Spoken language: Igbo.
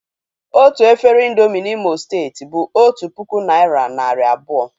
Otu efere ị̀ndómị́ N'Imo steeti bụ otu puku naị́ra narị abụọ